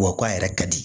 Wa k'a yɛrɛ ka di